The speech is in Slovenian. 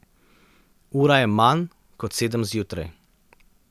Ura je manj kot sedem zjutraj.